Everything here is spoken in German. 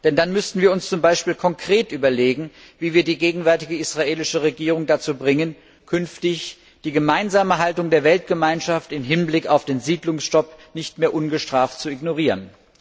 Denn dann müssten wir uns beispielsweise konkret überlegen, wie wir die gegenwärtige israelische Regierung dazu bringen, künftig die gemeinsame Haltung der internationalen Gemeinschaft im Hinblick auf den Siedlungsstopp nicht mehr ungestraft zu ignorieren.